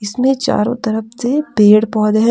इसमें चारो तरफ से पेड़ पौधे है।